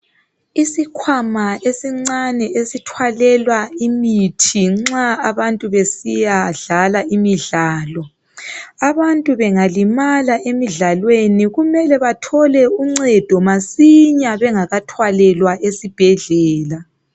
Isikhwama esincane esithwalelwa imithi nxa abantu besiya dlala imidlalo, abantu bengalimala emidlalweni kumele bathole uncedo masinya bengakathwalelwa esibhedlela.